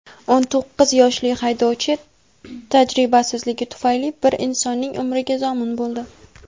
O‘n to‘qqiz yoshli haydovchi tajribasizligi tufayli bir insonning umriga zomin bo‘ldi.